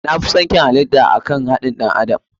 Na fison kyau halita da akan haɗin ɗan adam.